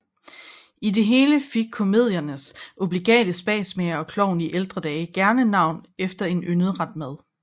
I det hele fik komediernes obligate spasmager og klovn i ældre dage gerne navn efter en yndet ret mad